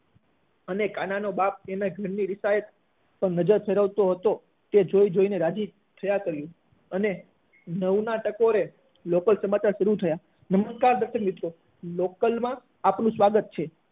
અને કાના નો બાપ એના ઘરે રીસાયેલ નજર ફેરવતો હતો ત્યાં તો રાજી થઇ ને જોયા જ કર્યું અને નવ ના ટકોરે લોકલ સમાચાર શરૂ થયા નમસ્કાર મિત્રો લોકલ માં આપનું સ્વાગત છે